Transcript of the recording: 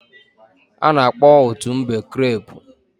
a na-akpo otu mbe creepu